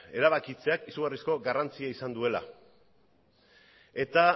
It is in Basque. erabakitzeak izugarrizko garrantzia izan duela eta